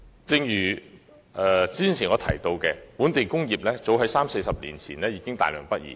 正如我剛才提到，本地工業早於三四十年前已大量北移。